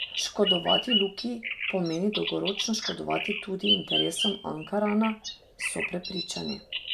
Škodovati Luki pomeni dolgoročno škodovati tudi interesom Ankarana, so prepričani.